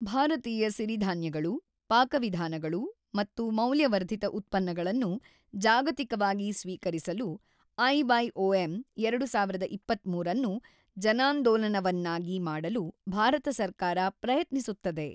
ಭಾರತೀಯ ಸಿರಿಧಾನ್ಯಗಳು, ಪಾಕವಿಧಾನಗಳು ಮತ್ತು ಮೌಲ್ಯವರ್ಧಿತ ಉತ್ಪನ್ನಗಳನ್ನು ಜಾಗತಿಕವಾಗಿ ಸ್ವೀಕರಿಸಲು ಐವೈಒಎಂ ೨೦೨೩ ಅನ್ನು ಜನಾಂದೋಲನವನ್ನಾಗಿ ಮಾಡಲು ಭಾರತ ಸರ್ಕಾರ ಪ್ರಯತ್ನಿಸುತ್ತದೆ.